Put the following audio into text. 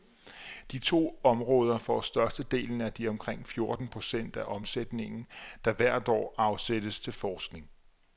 De to områder får størstedelen af de omkring fjorten procent af omsætningen, der hvert år afsættes til forskning.